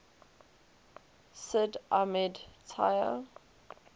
sid ahmed taya